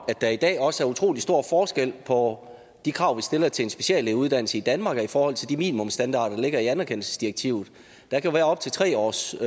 at der i dag også er utrolig stor forskel på de krav vi stiller til en speciallægeuddannelse i danmark i forhold til de minimumsstandarder der ligger i anerkendelsesdirektivet der kan være op til tre års